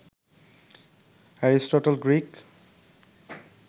Aristotle Greek